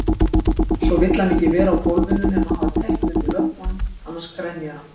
Svo vill hann ekki vera á gólfinu nema hafa teppi undir löppunum, annars grenjar hann.